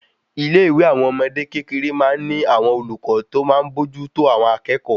Ilé ìwé àwọn ọmọdé kékeré má n ní àwọn olùkọ́ ti ọ máa n bójú tó àwọn akékòó